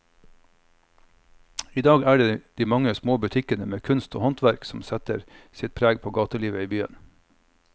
I dag er det de mange små butikkene med kunst og håndverk som setter sitt preg på gatelivet i byen.